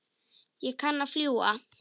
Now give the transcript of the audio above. Ég kann að fljúga.